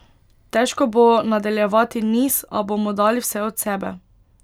Težko bo nadaljevati niz, a bomo dali vse od sebe.